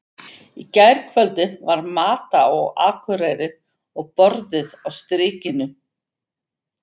Í gærkvöldi var Mata á Akureyri og borðið á Strikinu.